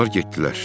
Onlar getdilər.